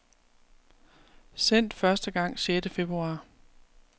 Sendt første gang sjette februar.